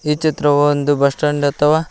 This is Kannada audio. ಈ ಚಿತ್ರವು ಒಂದು ಬಸ್ ಸ್ಟ್ಯಾಂಡ್ ಅಥವಾ--